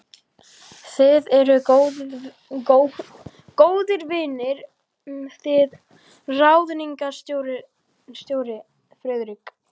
Þið eruð góðir vinir þið ráðningarstjóri, Friðrik